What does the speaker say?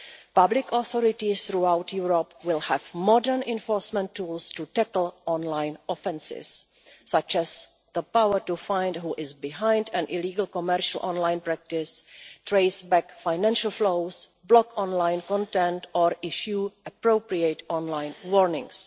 Public authorities throughout Europe will have modern enforcement tools to tackle online offences, such as the power to find out who is behind an illegal commercial online practice, trace back financial flows, block online content or issue appropriate online warnings.